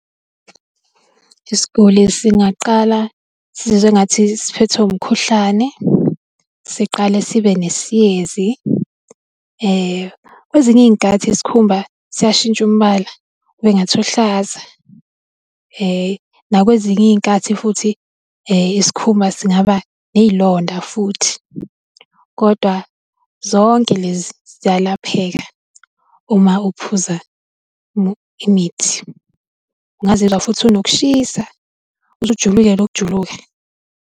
Isiguli singaqala sizwe engathi siphethwe umkhuhlane, siqale sibe nesiyezi. Kwezinye iy'nkathi isikhumba siyashintsha umbala, kubengathi uhlaza nakwezinye iy'nkathi, futhi isikhumba singaba ney'londa futhi. Kodwa zonke lezi ziyalapheka, uma uphuza imithi. Ungazizwa futhi unokushisa, uze ujuluke nokujuluka.